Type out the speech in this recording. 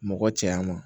Mɔgɔ cɛya ma